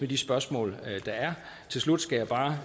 de spørgsmål der er til slut skal jeg bare